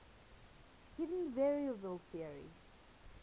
hidden variable theory